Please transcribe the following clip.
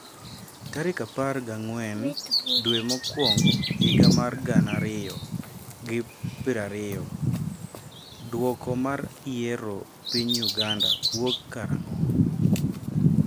tarik apar gi ang'wen dwe mokwongo higa mar gana ariyo gi piro ariyo, dwoko mar yiero piny Uganda wuok kara ang'o?